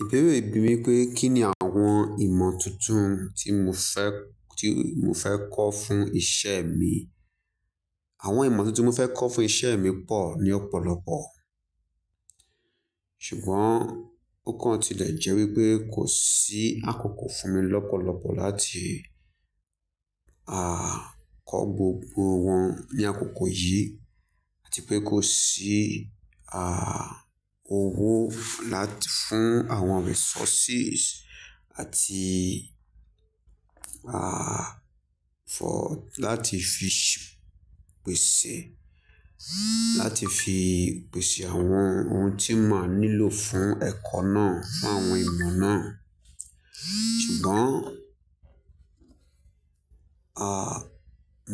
Ìbéèrè bi mi pé kí ni àwọn ìmọ̀ tuntun tí mo fẹ́, tí mo fẹ́ kọ́ fún isẹ mi. Àwọn ìmọ̀ tuntun mo fẹ́ kọ́ fún isẹ mi pọ̀ ni ọ̀pọ̀lọpọ̀. Ṣùgbọ́n ó kàn ti lè jẹ́ wípé kò sí àkókò fún mi lọ́pọ̀lọpọ̀ láti, aà, kọ gbogbo wọn ní àkókò yìí àti pé kò sí, à, owó láti fún àwọn resources àti, àa, fọ, láti fi pèsè, láti fi pèsè àwọn ohun tí máa nílò fún ẹ̀kọ́ náà, fún àwọn èèyàn náà. Ṣùgbọ́n, à,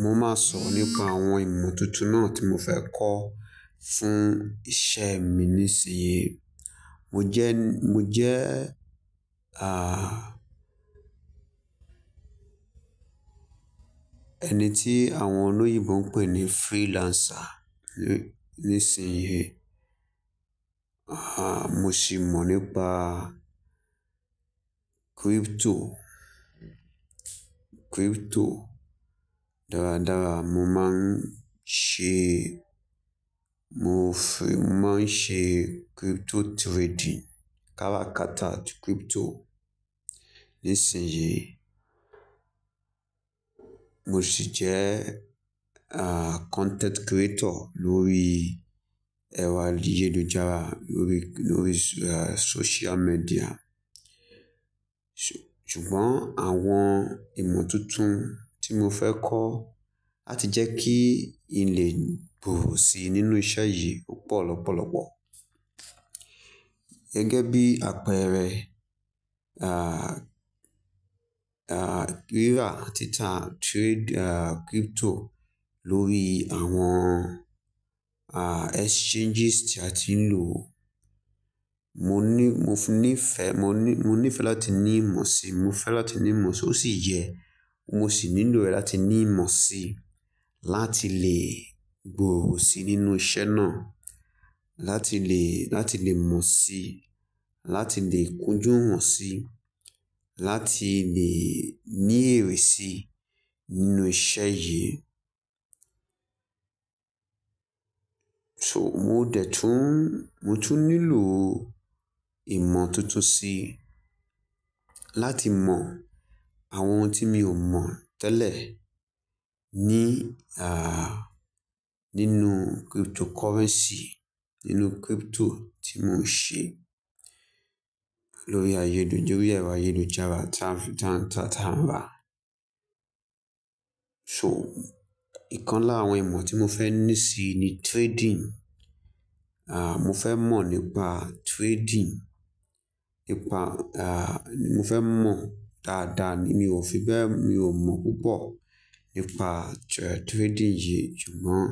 mo máa sọ̀rọ̀ nípa àwọn ìmọ̀ tuntun náà tí mo fẹ́ kọ́ fún iṣẹ mi nísin. Mo jẹ́, mo jẹ́, à, ẹni tí àwọn olóyinbo ń pè ní freelancer nísin yí. Àhà, mo sì mọ̀ nípa crypto, crypto dáradára. Mo máa ń ṣe, mo fẹ́ máa ń ṣe crypto trading, kára kata crypto nísin yí. Mo ṣì jẹ́, à, content creator lórí ẹ̀rọ ayélujára, lórí, lórí social media. Ṣùgbọ́n àwọn ìmọ̀ tuntun tí mo fẹ́ kọ́ láti jẹ́ kíi lè gbòòrò si nínú iṣẹ́ yìí ò pò lọ́pọ̀lọpọ̀. Gẹ́gẹ́ bí àpẹẹrẹ, à, à, rírà àti tá trade crypto lórí àwọn, à, exchanges tí a ti ń lò. Mo ní, mo ní ìfẹ́, mo ní, mo ní ìfẹ́ láti ní ìmọ̀ si, mo fẹ́ láti ní ìmọ̀ si ó sì yẹ. Mo sì nílò rẹ̀ láti ní ìmọ̀ si, láti le gbòòrò si nínú isẹ́ náà, láti le, láti le mọ̀ si, láti le kunjú wọ́n si, láti le ní èrè si nínú iṣẹ́ yìí. So mo dẹ̀ tún, mo tún nílò ìmọ̀ tuntun si láti mọ àwọn ohun tí mi ò mọ̀ tẹ́lẹ̀ ní, à, nínú cryptocurrency, nínú crypto tí mo ń ṣe lórí ayélujára, lórí ẹ̀rọ ayélujára tá n tá tá n rá. So ìkan lára àwọn ìmọ̀ tí mo fẹ́ ní si ni trading. À, mo fẹ́ mọ̀ nípa trading, nípa, à, mo fẹ́ mọ̀ dáadáa ni. Mi ò fi bẹ́ẹ̀, mi ò mọ̀ púpọ̀ nípa trading yìí. Ṣùgbọ́n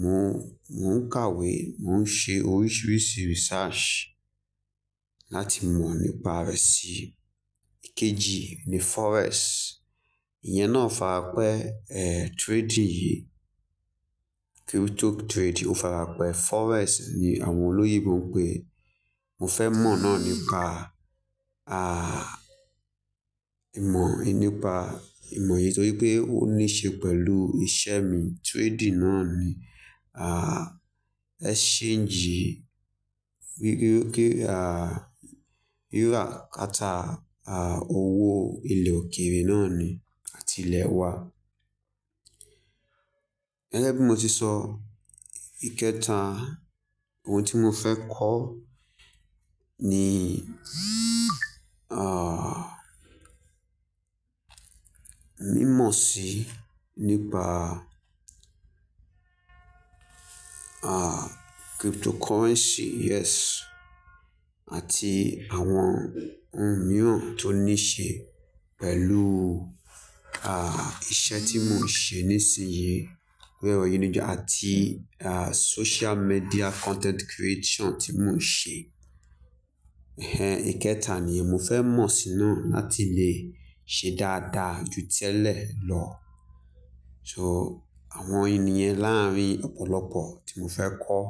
mo ń, mo ń kàwé, mo ń ṣe oríṣiríṣi research láti mọ̀ nípa rẹ̀ si. Ikeji ni Forex. Ìyẹn náà farapẹ́, ẹ, trading yìí. Crypto trading ó farapẹ́. Forex ni àwọn olóyinbo ń pè é. Mo fẹ́ mọ̀ náà nípa, à, ìmọ̀, nípa ìmọ̀ yìí nítorí pé ó ní ṣe pẹ̀lú isẹ mi. Trading náà ni, à, exchange rí, rí, rí, à, rírà kata, à, owó ilẹ̀ òkèèrè náà ni àti ilẹ̀ wa. Gẹ́gẹ́ bí mo ti sọ, ìkẹta ohun tí mo fẹ́ kọ́ ni, à, mímọ̀ si nípa, à, cryptocurrency yes àti àwọn ohun mìíràn tó ní ṣe pẹ̀lú, à, iṣẹ́ tí mo ń ṣe nísinsìnyí lórí ayélujára àti, à, social media content creation tí mo ń ṣe. Ẹ̀hẹn ìkẹta ni mo fẹ́ mọ̀ si náà láti lè ṣe dáadáa ju tẹ́lẹ̀ lọ. So àwọn ènìyàn láàárín ọ̀pọ̀lọpọ̀ tí mo fẹ́ kọ́